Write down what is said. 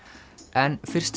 en fyrst